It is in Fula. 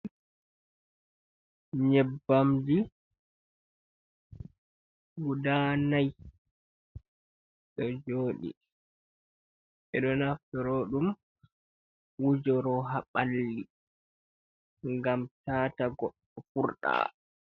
Nyebbamji guda nai ɗo jooɗi. Ɓe ɗo naftoro ɗum wujoro ha ɓalli, ngam taata goɗɗo furɗa.